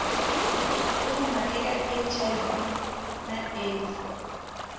fuma eka hiv na aids